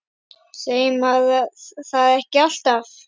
Segir maður það ekki alltaf?